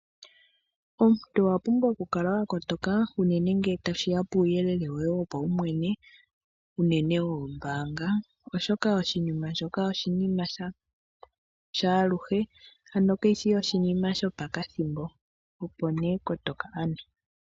Omuntu owa pumbwa oku kala wa kotoka uunene ngele tashiya puuyelele woye wo pawumwene uunene woombanga, oshoka oshinima shoka oshinima shaaluhe ano kayishi oshinima sho pokathimbo opo ne kotoka ano.